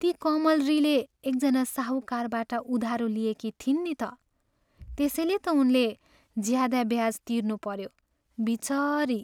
ती कमलरीले एकजना साहुकारबाट उधारो लिएकी थिइन् नि त। त्यसैले त उनले ज्यादा ब्याज तिर्नुपऱ्यो। बिचरी!